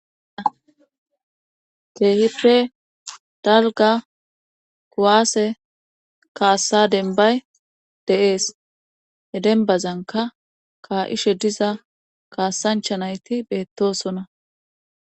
Keehippe dalga kuwaase kaassa denbay dees. he denbazanka ka'ishe diza kaasancha nayti beettosona.